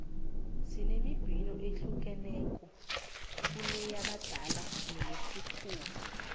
sinembhino eyahlukeneko kuneyabadala neyesikhuwa